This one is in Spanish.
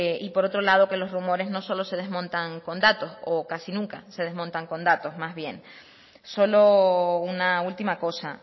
y por otro lado que los rumores no solo se desmontan con datos o casi nunca se desmontan con datos más bien solo una última cosa